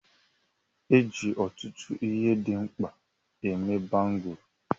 E ji ọtụtụ ihe dị mkpa eme Bangụlu.